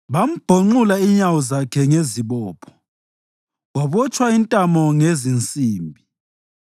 Bambhonxula inyawo zakhe ngezibopho, wabotshwa intamo ngezinsimbi,